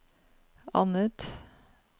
annet